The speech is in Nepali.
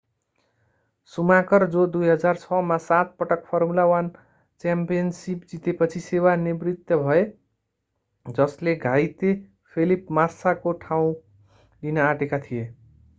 सुमाकर जो 2006 मा सात पटक फर्मुला 1 च्याम्पियनसिप जितेपछि सेवा निवृत्त भए जसले घाइते फेलिप मास्साको ठाउँ लिन आँटेका थिए